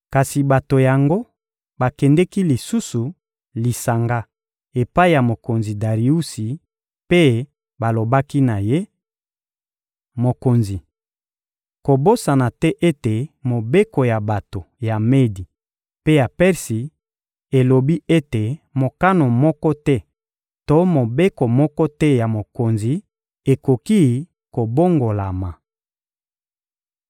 Kasi bato yango bakendeki lisusu lisanga epai ya mokonzi Dariusi mpe balobaki na ye: — Mokonzi, kobosana te ete mobeko ya bato ya Medi mpe ya Persi elobi ete mokano moko te to mobeko moko te ya mokonzi ekoki kobongolama.